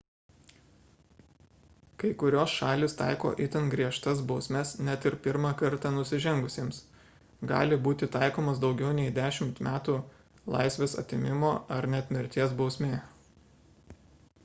kai kurios šalys taiko itin griežtas bausmes net ir pirmą kartą nusižengusiems gali būti taikomos daugiau nei 10 metų laisvės atėmimo ar net mirties bausmė